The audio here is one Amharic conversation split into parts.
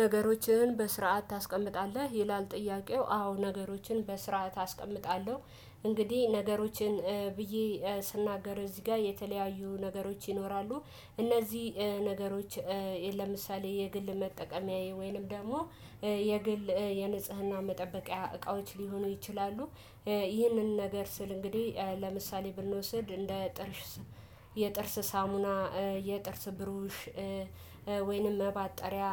ነገሮችን በስርዓት ታስቀምጣለህ ይላል? ጥያቄው አዎ ነገሮችን በስርዓት አስቀምጣለሁ። እንግዲህ ነገሮችን ብዬ ስናገር እዚህ ጋር የተለያዩ ነገሮች ይኖራሉ። እነዚህ ነገሮች ለምሳሌ የግል መጠቀምያዬ ወይንም ደግሞ የግል የንጽህና መጠበቂያ እቃዎች ሊሆኑ ይችላሉ። ይህንን ነገር ስል እንግዲህ ለምሳሌ ብንወስድ እንደ ጥርስ የጥርስ ሳሙና የጥርስ ብሩሽ ወይንም መባጠሪያ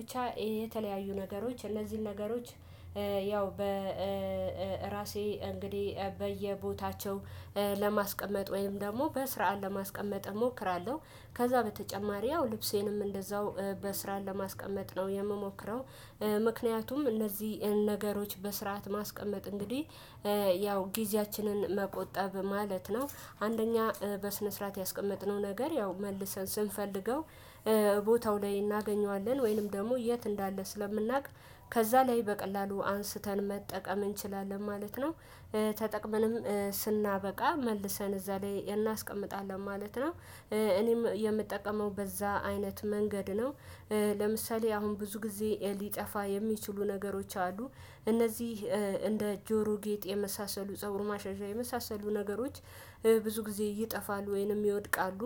ብቻ የተለያዩ ነገሮች እነዚህን ነገሮች ያው በራሴ እንግዲህ በየቦታቸው ለማስቀመጥ ወይም ደግሞ በስራ ለማስቀመጥ እሞክራለሁ። ከዛ በተጨማሪ ያው ልብሴንም እንደዛው በስራ ለማስቀመጥ ነው የምሞክረው። ምክንያቱም እነዚህን ነገሮች በስርዓት ማስቀመጥ እንግዲህ ያው ጊዜያችንን መቆጠብ ማለት ነው። አንደኛ በስነ ስርዓት ያስቀመጥነው ነገር ያው መልሰን ስንፈልገው ቦታው ላይ እናገኘዋለን። ወይንም ደግሞ የት እንዳለ ስለምናውቅ ከዛ ላይ በቀላሉ አንስተን መጠቀም እንችላለን ማለት ነው። ተጠቅመንም ስናበቃ መልሰን እዛ ላይ እናስቀምጣለን ማለት ነው። እኔም የምጠቀመው በዛ አይነት መንገድ ነው። ለምሳሌ አሁን ብዙ ጊዜ ሊጠፋ የሚችሉ ነገሮች አሉ። እነዚህ እንደ ጆሮ ጌጥ የመሳሰሉ ፀጉር ማሻሻያ የመሳሰሉ ነገሮች ብዙ ጊዜ ይጠፋሉ ወይንም ይወድቃሉ።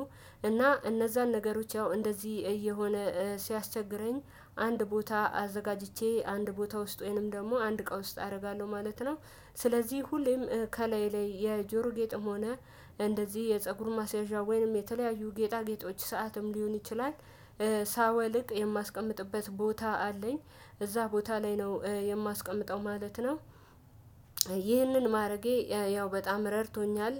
እና እነዛን ነገሮች ያው እንደዚህ እየሆነ ሲያስቸግረኝ አንድ ቦታ አዘጋጅቼ አንድ ቦታ ውስጥ ወይንም ደግሞ አንድ እቃ ውስጥ አደርጋለሁ ማለት ነው። ስለዚህ ሁሌም ከላይ ላይ የጆሮ ጌጥም ሆነ እንደዚህ የፀጉር ማሳዢያ ወይንም የተለያዩ ጌጣ ጌጦች ሰዓትም ሊሆን ይችላል። ሳወልቅ የማስቀምጥበት ቦታ አለኝ። እዛ ቦታ ላይ ነው የማስቀምጠው ማለት ነው። ይህንን ማረጌ ያው በጣም ረድቶኛል።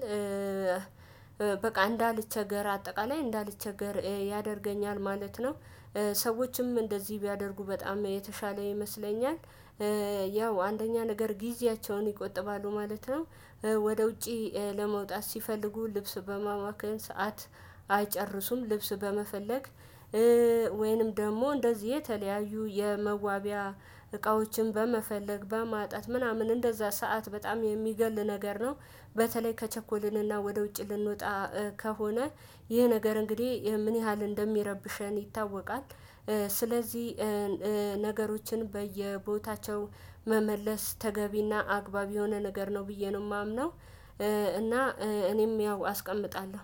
በቃ እንዳልቸገር አጠቃላይ እንዳልቸገር ያደርገኛል ማለት ነው። ሰዎችም እንደዚህ ቢያደርጉ በጣም የተሻለ ይመስለኛል። ያው አንደኛ ነገር ጊዜያቸውን ይቆጥባሉ ማለት ነው። ወደ ውጪ ለመውጣት ሲፈልጉ ልብስ በማማክን ሰዓት አይጨርሱም ልብስ በመፈለግ ወይንም ደግሞ እንደዚህ የተለያዩ የመዋቢያ እቃዎችን በመፈለግ በማጣት ምናምን እንደዛ ሰዓት በጣም የሚገል ነገር ነው። በተለይ ከቸኮልንና ወደ ውጭ ልንወጣ ከሆነ ይህ ነገር እንግዲህ ምን ያህል እንደሚረብሸን ይታወቃል። ስለዚህ ነገሮችን በየቦታቸው መመለስ ተገቢና አግባብ የሆነ ነገር ነው ብዬ ነው የማምነው። እና እኔም ያው አስቀልጣለሁ።